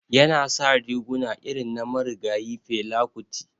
Yana sa riguna irin na marigayi Fela kuti.